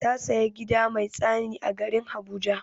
Ta saya gida mai tsani a garin habuja.